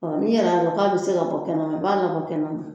Ni a ko k'a bɛ se ka bɔ kɛnɛma,n b'a la bɔ kɛnɛ man.